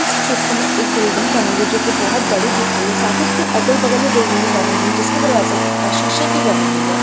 इस चित्र में एक बिल्डिंग बनी हुई जो की बहुत बड़ी दिख रही है साथ इसके अगल बगल में बिल्डिंग के बनी हुई जिसका दरवाजे सीसे की बनी हुई है |